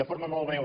de forma molt breu